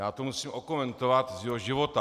Já to musím okomentovat z jeho života.